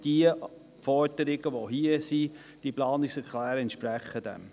Die beiden Planungserklärungen entsprechen diesem Grundsatz.